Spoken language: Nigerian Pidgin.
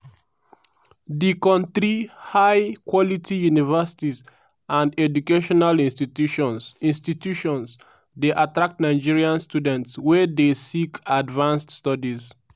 di kontri high-quality universities and educational institutions institutions dey attract nigerian students wey dey seek advanced studies.